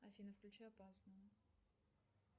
афина включи опасно